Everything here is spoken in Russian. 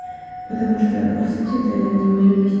потому что по сути это не моё ес